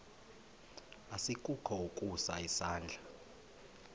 asikukho ukusa isandla